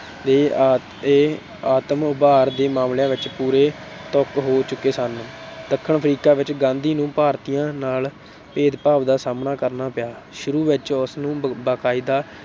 ਦੇ ਅਤੇ ਆਤਮ-ਉਭਾਰ ਦੇ ਮਾਮਲਿਆਂ ਵਿੱਚ ਪੂਰੇ ਤਪ ਹੋ ਚੁੱਕੇ ਸਨ। ਦੱਖਣ ਅਫ਼ਰੀਕਾ ਵਿੱਚ ਗਾਂਧੀ ਨੂੰ ਭਾਰਤੀਆਂ ਨਾਲ ਭੇਦਭਾਵ ਦਾ ਸਾਹਮਣਾ ਕਰਨਾ ਪਿਆ। ਸ਼ੁਰੂ ਵਿੱਚ ਉਸਨੂੰ ਬਾਕਾਇਦਾ